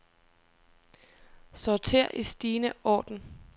Sorter i stigende orden.